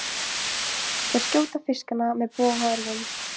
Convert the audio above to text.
Og hann hélt áfram, græðgin varð honum að falli.